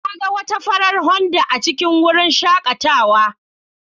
Na ga wata farar Honda A cikin wurin shakatawa.